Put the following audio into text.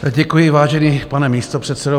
Děkuji, vážený pane místopředsedo.